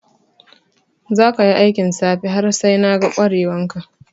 Za ka yi aikin safe har sai na ga kware wan ka!